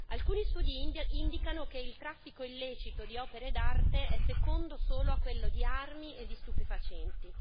Alcuni studi indicano che il traffico illecito di opere d'arte è secondo solo a quello di armi e di stupefacenti.